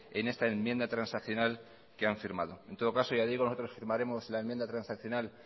en esta enmienda transaccional que han firmado en todo caso ya digo nosotros firmaremos la enmienda transaccional